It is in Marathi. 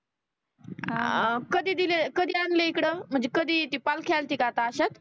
आ कधी दिलं कधी आणलं इकडं म्हनजे कधी ते पालखी आणते का आता अशाच